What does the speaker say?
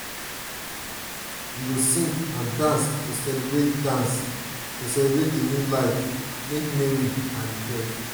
we go sing and dance to celebrate dance to celebrate di new life make merry rejoice.